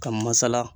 Ka masala